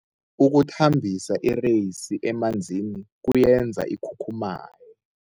Ukuthambisa ireyisi emanzini kuyenza ikhukhumaye.